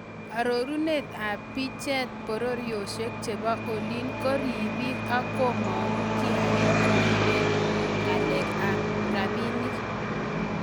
Arorunet ab bicheet , bororyosiek chebo olii ko ribiik ak komang'u kiakiik koribeen ng'alek ab rabiniik.